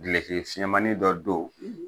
Gileki fiɲɛnmanin dɔ don